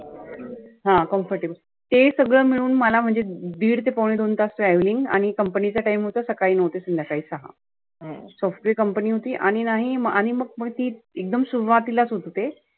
हा comfortable ते सगळ मिळून मला म्हणजे दिड ते पाउने दोन तास traveling आणि company चा time होता सकाळी नऊ ते सध्याकाळी सहा. software company होती. आणि नाही आणि मग पुढे ती एकदम सुरुवातीलाच होतं ते.